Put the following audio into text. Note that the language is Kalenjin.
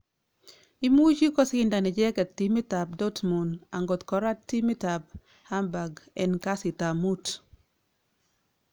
Imuche kosindan icheket timit ab Dortmund angotkorat timit ab Hamburg en kasitap muut